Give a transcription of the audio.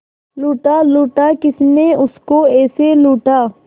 लूटा लूटा किसने उसको ऐसे लूटा